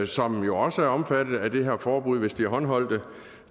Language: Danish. som jo også er omfattet af det her forbud hvis de er håndholdte